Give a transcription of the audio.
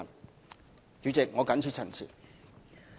代理主席，我謹此陳辭。